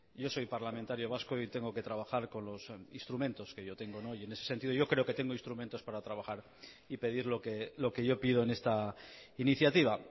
yo soy parlamentario vasco y tengo que trabajar con los instrumentos que yo tengo y en ese sentido yo creo que tengo instrumentos para trabajar y pedir lo que yo pido en esta iniciativa